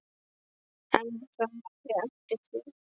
En það væri eftir því.